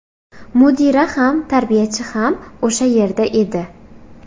Mudira ham, tarbiyachi ham o‘sha yerda edi.